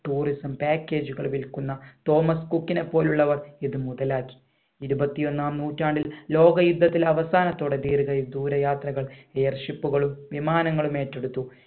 tourism package കൾ വിൽക്കുന്ന Thomas കുക്കിനെ പോലെ ഉള്ളവർ ഇത് മുതലാക്കി ഇരുപത്തി ഒന്നാം നൂറ്റാണ്ടിൽ ലോക യുദ്ധത്തിൽ അവസാനത്തോടെ തീരുകയും ദൂരെ യാത്രകൾ air ship കളും വിമാനങ്ങളും ഏറ്റെടുത്തു